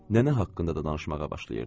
Nənə haqqında da danışmağa başlayırdı.